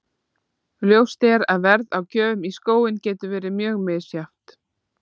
Ljóst er að verð á gjöfum í skóinn getur verið mjög misjafnt.